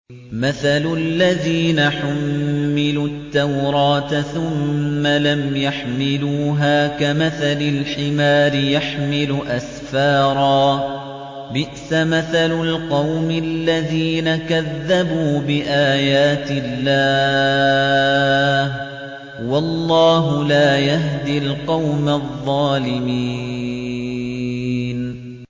مَثَلُ الَّذِينَ حُمِّلُوا التَّوْرَاةَ ثُمَّ لَمْ يَحْمِلُوهَا كَمَثَلِ الْحِمَارِ يَحْمِلُ أَسْفَارًا ۚ بِئْسَ مَثَلُ الْقَوْمِ الَّذِينَ كَذَّبُوا بِآيَاتِ اللَّهِ ۚ وَاللَّهُ لَا يَهْدِي الْقَوْمَ الظَّالِمِينَ